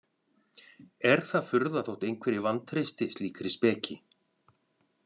Er það furða þótt einhverjir vantreysti slíkri speki?